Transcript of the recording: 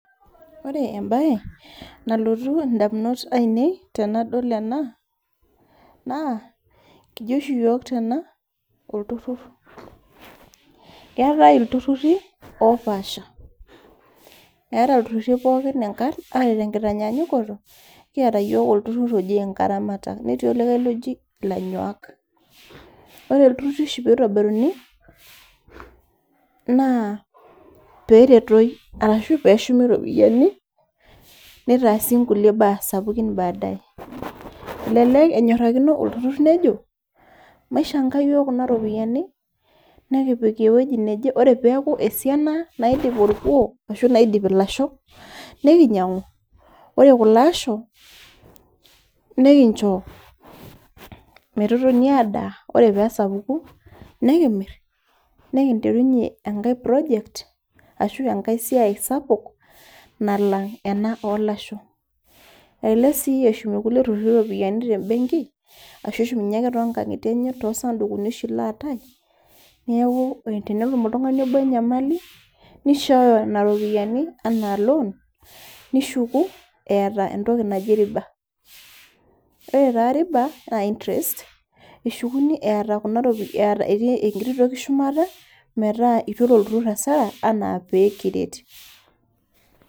Ore embaye nalotu indamunot ainei tenadol ena naa, kijo oshi iyiok tena, olturur. Keatai iltururi opaasha, eata iltururi pooki oata enkitanyanyukoto. Kiata iyiok olturur oji ilairamatak, netii olikai oji ilanyuak, ore iltururi oshi pee eitobiruni, naa pee eretoi anaa pee eshumi iropiani, neitaasi inkulie baa sapukin badaye. Elelek olturur neijo, maishang'a iyiok kuna ropiani, nekipik ewueji naje, ore peaku esiana naidip olkuo arashu naidip ilashok, nekinyang'u. Ore kulo asho, nekincho metotoni adaa, ore pee esapuku nekimir, nekinterunye enkai project, ashu enkai siai sapuk, nalang' ena oo ilasho. Elelek sii eshum ilkulie truri iropiani te embeng'i, ashu eshumunye ake to nkang'ie enye ashu too isandukiuni ashi laatai, neaku tenetum oltung'ani obo enyamali neishooyo nena rupiani anaa loan nishuku eata entoki naji riba. Ore taa riba naa interest, eshukuni etii enkitio toki shumata metaa eitu elo olturur asara anaa peekiret.